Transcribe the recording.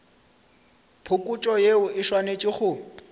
phokotšo yeo e swanetše go